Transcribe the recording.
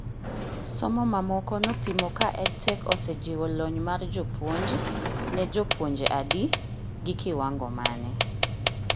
Somo mamoko nopimo ka EdTech osejiwo lony mar jopuonj, ne jopuonje adi, gi kiwango mane